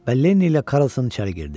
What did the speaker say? Və Lenni ilə Karlson içəri girdi.